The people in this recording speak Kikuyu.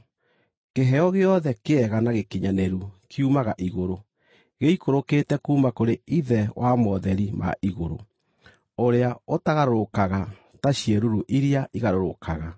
Kĩheo gĩothe kĩega na gĩkinyanĩru kiumaga igũrũ, gĩikũrũkĩte kuuma kũrĩ Ithe wa motheri ma igũrũ, ũrĩa ũtagarũrũkaga ta ciĩruru iria igarũrũkaga.